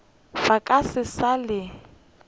ba ka se sa le